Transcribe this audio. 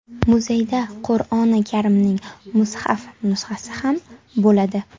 Muzeyda Qur’oni Karimning mus’haf nusxasi ham bo‘ladi.